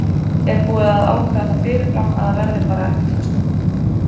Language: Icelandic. Er búið að ákveða það fyrirfram að það verði bara ekkert hlustað?